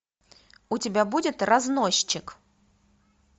у тебя будет разносчик